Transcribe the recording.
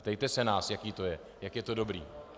Ptejte se nás, jaké to je, jak je to dobré.